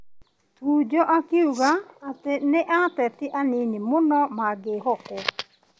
Tuju akiuga atĩ nĩ ateti anini mũno mangĩĩhokwo.